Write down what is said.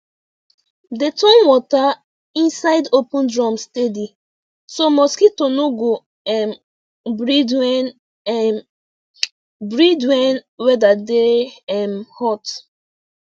dey turn water inside open drum steady so mosquito no go um breed when um breed when weather dey um hot